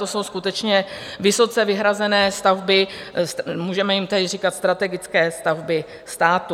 To jsou skutečně vysoce vyhrazené stavby, můžeme jim tedy říkat strategické stavby státu.